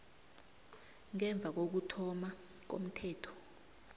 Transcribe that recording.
ngemva kokuthoma komthetho